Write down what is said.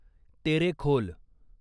Terekhol